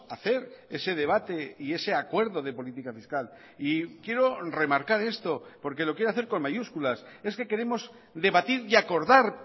hacer ese debate y ese acuerdo de política fiscal y quiero remarcar esto porque lo quiero hacer con mayúsculas es que queremos debatir y acordar